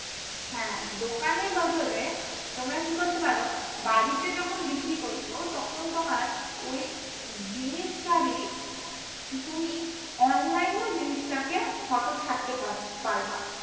হ্যা দোকানের বদলে তোমরা কি করতে পারো বাড়িতে যখন বিক্রি করছো তখন তোমার ওই জিনিসটারই তুমি online ও জিনিসটাকে photo ছাড়তে পারবা